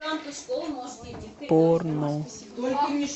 порно